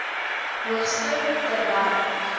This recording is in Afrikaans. hoogste ter wêreld